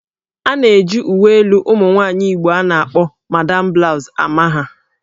A na-eji uwe elu ụmụ nwaanyị Igbo a na-akpọ 'Madam Blouse'' ama ha